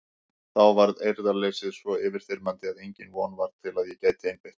Þá varð eirðarleysið svo yfirþyrmandi að engin von var til að ég gæti einbeitt mér.